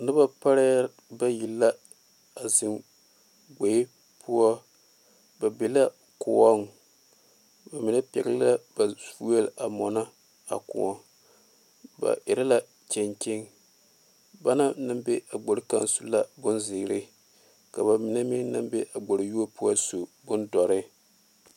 Noba pare bayi a zeŋ gbeɛ poɔ ba be la kõɔ ba mine pegle la ba vuɛ a mɔno a kõɔ ba erɛ la kyekye banaŋ naŋ be a gbere kaŋa poɔ su la bonziiri ka ba mine meŋ naŋ be a gbere yuo poɔ su bondoɔre.